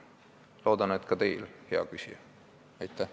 Loodan, et ka teil, hea küsija, on nii.